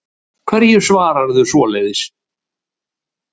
Hverju svararðu svoleiðis?